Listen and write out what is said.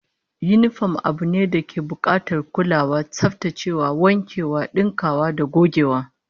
Yinifom abu ne dake bukatar kulawa, tsaftacewa, wankewa, dinkewa da gogewa